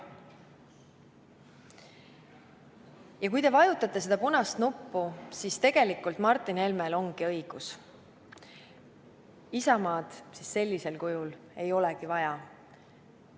Ja kui te vajutate punast nuppu, siis tegelikult Martin Helmel ongi õigus – Isamaad sellisel kujul ei olegi vaja.